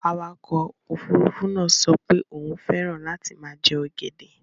Awakọ̀ òfurufú náà sọ pé òun fẹ́ràn láti máa jẹ ọ̀gẹ̀dẹ̀.